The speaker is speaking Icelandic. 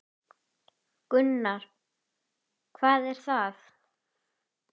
Gunnar: Hvað er það?